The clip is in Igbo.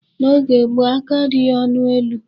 N'oge gboo, aka adịghị ọnụ elu.